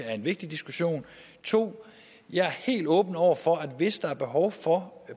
er en vigtig diskussion 2 jeg er helt åben over for at hvis der er behov for